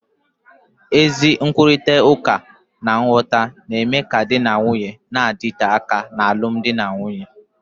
Ezi nkwurịta uka na nghọta na-eme ka di na nwunye na-adịte aka n'alụmdi na nwunye